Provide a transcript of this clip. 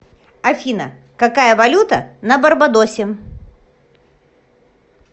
афина какая валюта на барбадосе